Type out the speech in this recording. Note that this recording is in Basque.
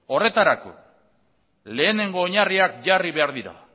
horretarako lehenengo oinarriak jarri behar dira